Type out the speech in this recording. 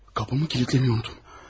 Qapımı kilidləməyi unutdum.